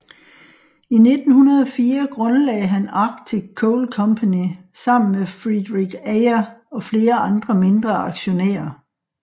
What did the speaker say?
I 1904 grundlagde han Arctic Coal Company sammen med Frederik Ayer og flere andre mindre aktionærer